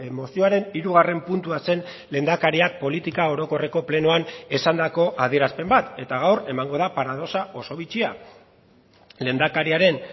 mozioaren hirugarren puntua zen lehendakariak politika orokorreko plenoan esandako adierazpen bat eta gaur emango da paradoxa oso bitxia lehendakariaren